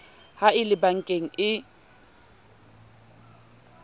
ha e le bankeng e